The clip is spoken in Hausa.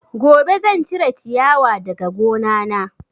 Gobe zan cire ciyawa daga gona na